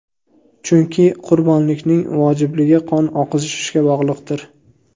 Chunki qurbonlikning vojibligi qon oqizishga bog‘liqdir.